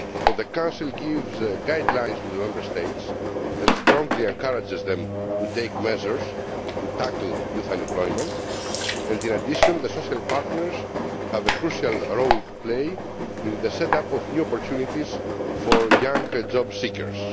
The Council gives guidelines to the Member States and strongly encourages them to take measures to tackle youth unemployment, and in addition the social partners have a crucial role in the set up of new opportunities for young job seekers.